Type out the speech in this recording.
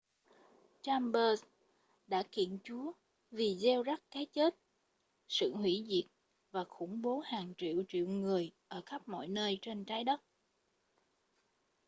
chambers đã kiện chúa vì gieo rắc cái chết sự hủy diệt và khủng bố hàng triệu triệu người ở khắp mọi nơi trên trái đất